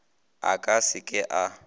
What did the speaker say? a ka se ke a